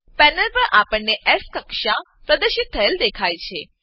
panel પર આપણને S કક્ષા પ્રદર્શિત થયેલ દેખાય છે